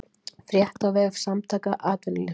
Frétt á vef Samtaka atvinnulífsins